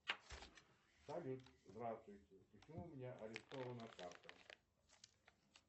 салют здравствуйте почему у меня арестована карта